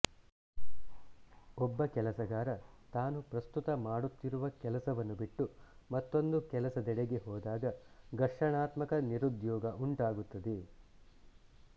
ಒಬ್ಬ ಕೆಲಸಗಾರ ತಾನು ಪ್ರಸ್ತುತ ಮಾಡುತ್ತಿರುವ ಕೆಲಸವನ್ನು ಬಿಟ್ಟು ಮತ್ತೊಂದು ಕೆಲಸದೆಡೆಗೆ ಹೋದಾಗ ಘರ್ಷಣಾತ್ಮಕ ನಿರುದ್ಯೋಗ ಉಂಟಾಗುತ್ತದೆ